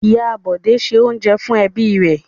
Ìyá Bọ̀dé se oúnjẹ fún ẹbí rẹ̀.